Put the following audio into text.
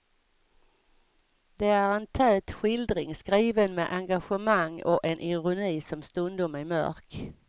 Det är en tät skildring, skriven med engagemang och en ironi som stundom är mörk.